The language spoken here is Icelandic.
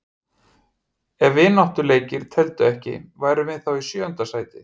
Ef vináttuleikir teldu ekki, værum við þá í sjöunda sæti?